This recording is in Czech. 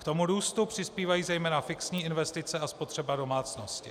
K tomu růstu přispívají zejména fixní investice a spotřeba domácností.